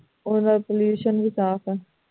ਉਨ੍ਹਾਂ ਦਾ pollution ਵੀ ਸਾਫ਼ ਹੈ